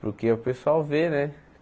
Porque o pessoal vê, né?